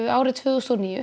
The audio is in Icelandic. árið tvö þúsund og níu